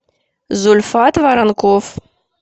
зульфат воронков